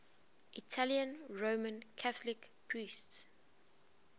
italian roman catholic priests